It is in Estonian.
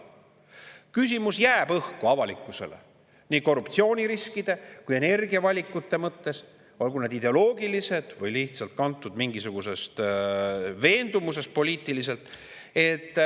Avalikkuses jääb küsimus õhku nii korruptsiooniriskide kui ka energiavalikute mõttes, olgu need ideoloogilised või lihtsalt kantud mingisugusest poliitilisest veendumusest.